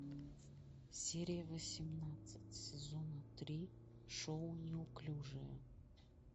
серия восемнадцать сезона три шоу неуклюжие